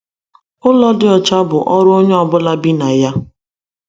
Ụlọ dị ọcha bụ ọrụ onye ọ bụla bi na ya.